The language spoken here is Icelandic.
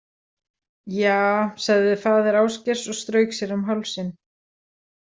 Ja, sagði faðir Ásgeirs og strauk sér um hálsinn.